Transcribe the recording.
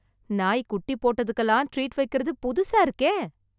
நாய் குட்டி போட்டதுக்கெல்லாம் ட்ரீட் வைக்கிறது புதுசா இருக்கே